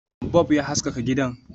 Bub ya haskaka gidan